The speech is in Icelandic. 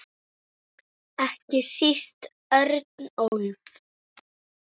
Ekki síst Örnólf.